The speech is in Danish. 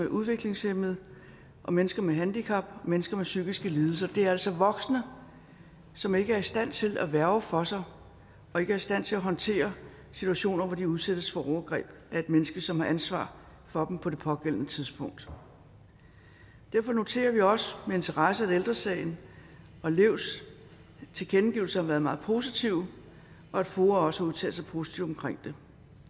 udviklingshæmmede mennesker med handicap og mennesker med psykiske lidelser det er altså voksne som ikke er i stand til at værge for sig og ikke er i stand til at håndtere situationer hvor de udsættes for overgreb af et menneske som har ansvar for dem på det pågældende tidspunkt derfor noterer vi også med interesse at ældre sagens og levs tilkendegivelser har været meget positive og at foa også har udtalt sig positivt om det